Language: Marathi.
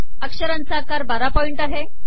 अक्षरांचा आकार १२ पॉइंट आहे